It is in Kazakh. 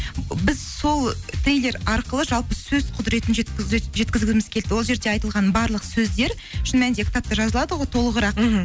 біз сол трейлер арқылы жалпы сөз құдыретін жеткізгіміз келді ол жерде айтылған барлық сөздер шын мәнінде кітапта жазылады ғой толығырақ мхм